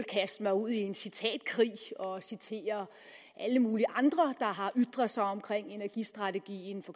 kaste mig ud i en citatkrig og citere alle mulige andre der har ytret sig om energistrategien for